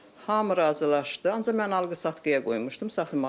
Hamı razılaşdı, ancaq mən alqı-satqıya qoymuşdum saxlamağa.